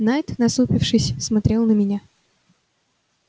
найд насупившись смотрел на меня